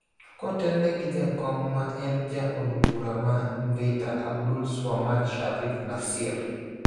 kotelne gi jakom ma en ja od bura ma Mvita Abdulswamad Shariff Nassir,